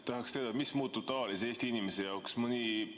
Tahaks teda, mis muutub tavalise Eesti inimese jaoks?